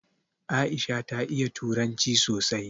Aisha ta iya turanci sosai